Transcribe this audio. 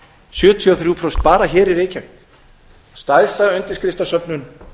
sjötíu og þrjú prósent bara hér í reykjavík stærsta undirskriftasöfnun